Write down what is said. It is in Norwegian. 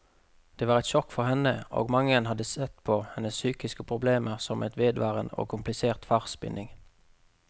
Det var et sjokk for henne, og mange har sett på hennes psykiske problemer som en vedvarende og komplisert farsbinding.